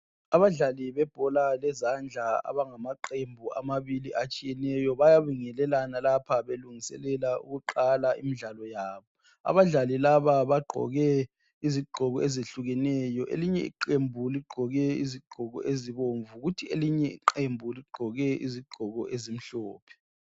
Abadlali bebhola lezandla abangamaqembu amabili atshiyeneyo bayabingelelana lapha belungiselela ukuqala imidlalo yabo. Abadlali laba bagqoke izigqoko ezehlukeneyo. Elinye iqembu ligqoke izigqoko ezibomvu kuthi elinye iqembu ligqoke izigqoko ezimhlophe.